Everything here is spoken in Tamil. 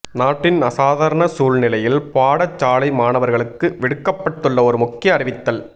நாட்டின் அசாதாரண சூழ்நிலையில் பாடசாலை மாணவர்களுக்கு விடுக்கப்பட்டுள்ள ஓர் முக்கிய அறிவித்தல்